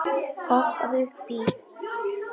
Hoppaðu upp í.